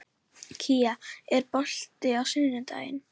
Kía, er bolti á sunnudaginn?